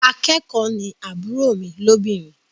Akẹ́kọ̀ọ́ ni àbúrò mi lóbìnrin.